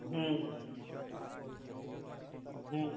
হু হু